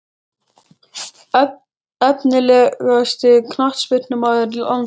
Efnilegasti knattspyrnumaður landsins?